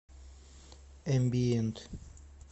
эмбиент